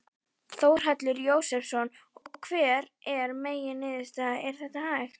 Þórhallur Jósefsson: Og hver er megin niðurstaða, er þetta hægt?